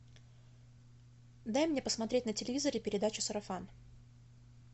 дай мне посмотреть на телевизоре передачу сарафан